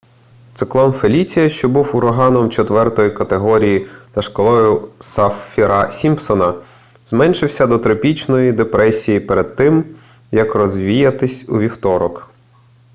циклон феліція що був ураганом 4 категорії за шкалою саффіра-сімпсона зменшився до тропічної депресії перед тим як розвіятись у вівторок